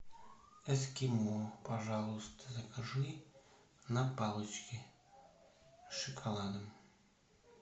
эскимо пожалуйста закажи на палочке с шоколадом